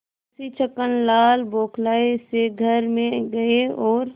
मुंशी छक्कनलाल बौखलाये से घर में गये और